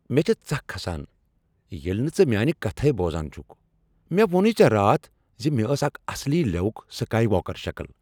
مےٚ چِھ ژکھ کھسان ییلہِ نہٕ ژٕ میانہِ كتھٕے بوزان چُھكھ۔ مےٚ ووٚنوٕے ژے راتھ زِ مےٚ ٲس اكھ اصلی لِیوُک سكایۍ واكر شكل۔